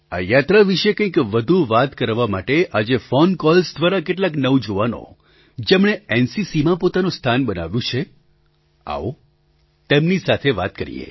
આ યાત્રા વિશે કંઈક વધુ વાત કરવા માટે આજે ફૉન કૉલ્સ દ્વારા કેટલાક નવજુવાનો જેમણે એનસીસીમાં પોતાનું સ્થાન બનાવ્યું છે આવો તેમની સાથે વાત કરીએ